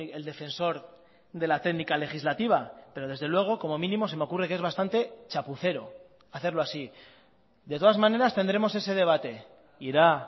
el defensor de la técnica legislativa pero desde luego como mínimo se me ocurre que es bastante chapucero hacerlo así de todas maneras tendremos ese debate irá